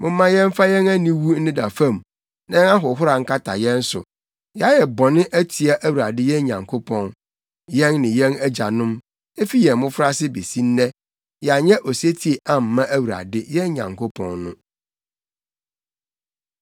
Momma yɛmfa yɛn aniwu nneda fam na yɛn ahohora nkata yɛn so. Yɛayɛ bɔne atia Awurade yɛn Nyankopɔn, yɛn ne yɛn agyanom; efi yɛn mmofraase besi nnɛ yɛanyɛ osetie amma Awurade, yɛn Nyankopɔn no.”